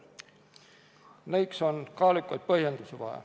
Nendeks on vaja kaalukaid põhjendusi.